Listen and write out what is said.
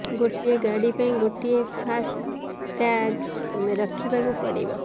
ଗୋଟିଏ ଗାଡି ପାଇଁ ଗୋଟିଏ ଫାସ୍ ଟ୍ୟାଗ୍ ରଖିବାକୁ ପଡିବ